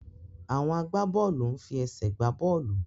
Àwọn agbábọ́ọ̀lù ń fi ẹsẹ̀ gbá bọ́ọ̀lù.